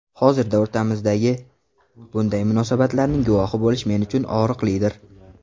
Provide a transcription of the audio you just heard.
Hozirda o‘rtamizdagi bunday munosabatlarning guvohi bo‘lish men uchun og‘riqlidir”.